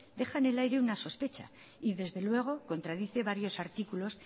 deja en el aire una sospecha y desde luego contradice varios artículos